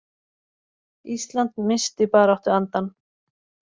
Ísland missti baráttuandann